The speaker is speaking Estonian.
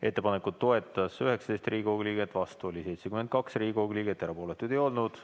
Ettepanekut toetas 19 Riigikogu liiget, vastu oli 72 Riigikogu liiget, erapooletuid ei olnud.